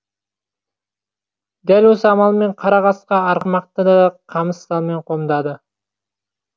дәл осы амалмен қара қасқа арғымақты да қамыс салмен қомдады